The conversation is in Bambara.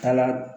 Kala